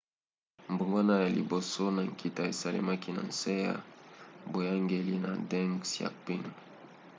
mbongwana ya liboso ya nkita esalemaki na nse ya boyangeli ya deng xiaoping